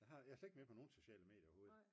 jeg er slet ikke med på nogle sociale medier overhovedet